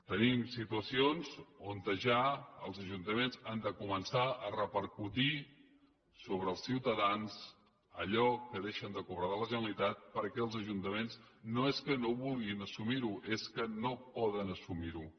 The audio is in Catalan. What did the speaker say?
tenim situacions on ja els ajuntaments han de començar a repercutir sobre els ciutadans allò que deixen de cobrar de la generalitat perquè els ajuntaments no és que no vulguin assumir ho és que no poden assumir ho